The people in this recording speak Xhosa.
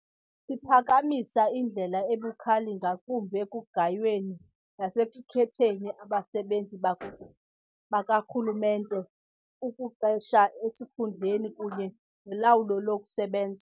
Siphakamisa indlela ebukhali ngakumbi ekugayweni nasekukhetheni abasebenzi bakarhulumente, ukuqesha esikhundleni kunye nolawulo lokusebenza.